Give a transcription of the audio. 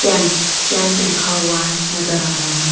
Champ champ लिखा हुआ है नजर आ रहा है।